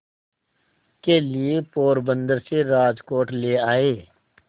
के लिए पोरबंदर से राजकोट ले आए